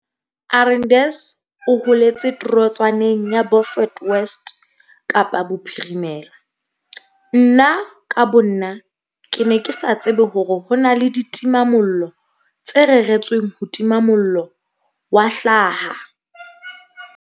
Arendse o holetse torotswaneng ya Beaufort West Kapa Bophirimela. Nna ka bonna, ke ne ke sa tsebe hore ho na le ditimamollo tse reretsweng ho tima mollo wa hlaha.